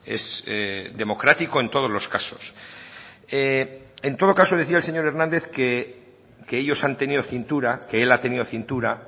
es democrático en todos los casos en todo caso decía el señor hernández que ellos han tenido cintura que él ha tenido cintura